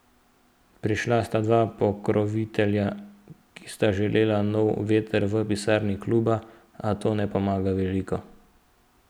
Prišla sta dva pokrovitelja, ki sta želela nov veter v pisarni kluba, a to ne pomaga veliko.